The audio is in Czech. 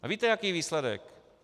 A víte, jaký je výsledek.